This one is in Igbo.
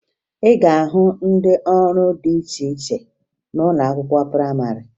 Ị ga-ahụ ndị ọrụ dị iche iche n'ụlọ akwụkwọ prayịmarị